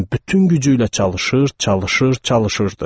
bütün gücü ilə çalışır, çalışır, çalışırdı.